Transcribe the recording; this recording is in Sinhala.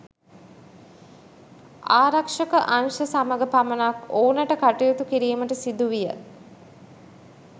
ආරක්ෂක අංශ සමග පමණක් ඔවුන්ට කටයුතු කිරීමට සිදුවිය.